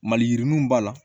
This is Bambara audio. Maliyirininw b'a la